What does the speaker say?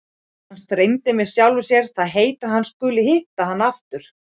Hann strengir með sjálfum sér það heit að hann skuli hitta hana aftur!